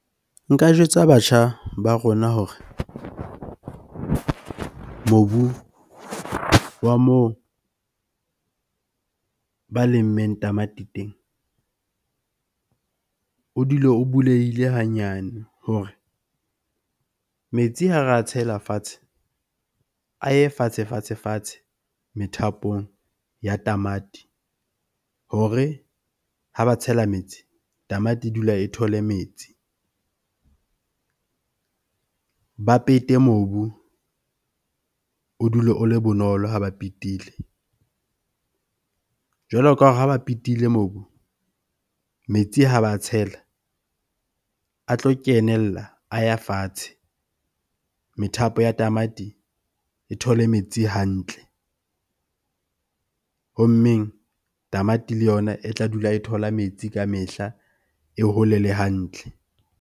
Nka jwetsa batjha ba rona hore mobu wa moo ba lemmeng tamati teng o dule o bulehile hanyane hore metsi ha re a tshela fatshe. A ye fatshe, fatshe, fatshe methapong ya tamati hore ha ba tshela metsi tamati e dula e thole metsi. Ba pete mobu o dule o le bonolo ha ba petile. Jwalo ka ha ba petile mobu, metsi ha ba a tshela a tlo kenella, a ya fatshe. Methapo ya tamati e thole metsi hantle. Ho mmeng, tamati le yona e tla dula e thola metsi ka mehla, e hole le hantle.